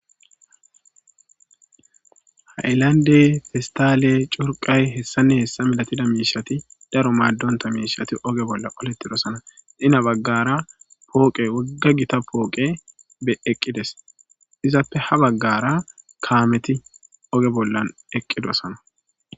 Hayllande fistaale curqay hessanne hessa milatida miishati daro maaddonta miishati oge bolla qoletidosana dina baggara pooqe wogga gita pooqe be eqqides izappe ha baggara kaameti oge bollan eqqidosana